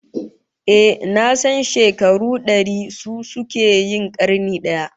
Ehh, nasan shekaru dari su suke yin karni daya